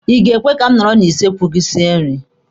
Ị ga-ekwe ka m nọrọ na kichin gị sie nri?